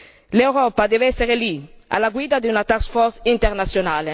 L'Europa deve essere lì, alla guida di una task force internazionale!